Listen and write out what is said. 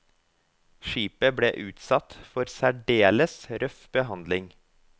Skipet ble utsatt for særdeles røff behandling.